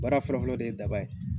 Baara fɔlɔ fɔlɔ de ye daba ye.